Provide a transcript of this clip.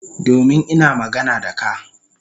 Domin ina magana da ka.